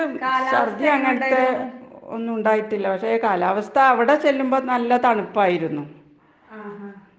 കാലാവസ്ഥയെങ്ങനെയുണ്ടായിരുന്നു? ആഹാ.